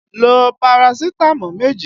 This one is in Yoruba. Lo Parasitamọ́ọ̀ méjì!